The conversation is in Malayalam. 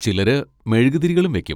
ചിലര് മെഴുകുതിരികളും വെക്കും.